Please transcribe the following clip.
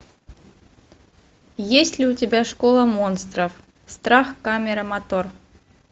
есть ли у тебя школа монстров страх камера мотор